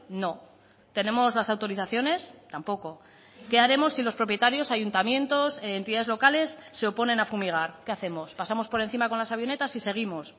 no tenemos las autorizaciones tampoco qué haremos si los propietarios ayuntamientos entidades locales se oponen a fumigar qué hacemos pasamos por encima con las avionetas y seguimos